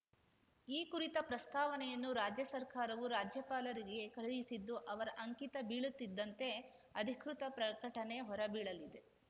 ಈ ಕುರಿತ ಪ್ರಸ್ತಾವನೆಯನ್ನು ರಾಜ್ಯ ಸರ್ಕಾರವು ರಾಜ್ಯಪಾಲರಿಗೆ ಕಳುಹಿಸಿದ್ದು ಅವರ ಅಂಕಿತ ಬೀಳುತ್ತಿದ್ದಂತೆ ಅಧಿಕೃತ ಪ್ರಕಟಣೆ ಹೊರಬೀಳಲಿದೆ